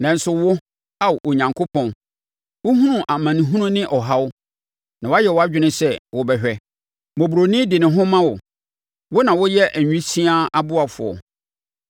Nanso wo, Ao Onyankopɔn, wohunu amanehunu ne ɔhaw; na wayɛ wʼadwene sɛ wobɛhwɛ. Mmɔborɔni de ne ho ma wo; wo na woyɛ awisiaa ɔboafoɔ.